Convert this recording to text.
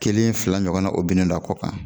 Kelen fila ɲɔgɔnna o binnen do a kɔ kan